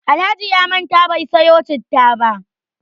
Alhaji ya manta bai sayo citta ba.